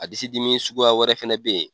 A disi dimi suguya wɛrɛ fɛnɛ bɛ ye.